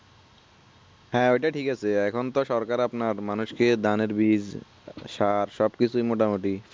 হ্যা এটা ঠিক আছে এখন তো সরকার আপনার মানুষ কে ধান এর বীজ সার সবকিছুই মোটামুটি